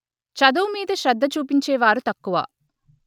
చదువు మీద శ్రద్ద చూపించే వారు తక్కువ